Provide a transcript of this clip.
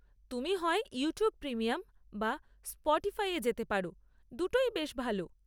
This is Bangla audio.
তুমি হয় ইউটিউব প্রিমিয়াম বা স্পটিফাইতে যেতে পারো, দুটোই বেশ ভালো।